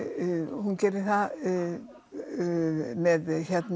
hún gerir það með